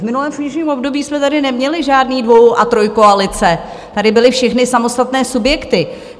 V minulém funkčním období jsme tady neměli žádné dvoj- a trojkoalice, tady byly všechny samostatné subjekty.